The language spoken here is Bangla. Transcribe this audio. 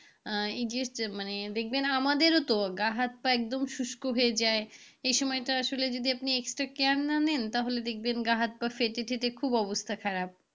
এই যে শীতে মানে দেখবেন আমাদেরও তো গা হাত-পা একদম শুষ্ক হয়ে যায় এই সময়টা আসলে আপনি extra care না নেন তাহলে দেখবেন গা হাত পা ফেটে টেটে খুব অবস্থা খারাপ।